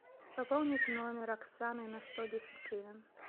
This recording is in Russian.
пополнить номер оксаны на сто десять гривен